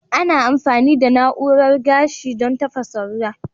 Ana amfani da na'urar gashi don tafasa ruwa.